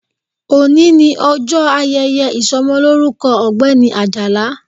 Òní ni ọjọ́ ayẹyẹ ìsọmọlórúkọ ọ̀gbẹ́ni Àjàlá